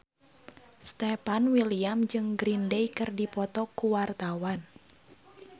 Stefan William jeung Green Day keur dipoto ku wartawan